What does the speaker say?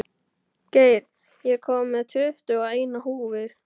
Geir, ég kom með tuttugu og eina húfur!